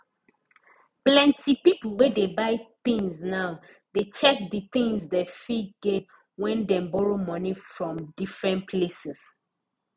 plenty pipo wey dey buy things now dey check di things dem fit gain wen dem borrow from different places